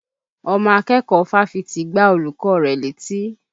Ọmọ akẹ́kọ̀ọ́ fáfitì gbá olùkọ́ rẹ̀ létí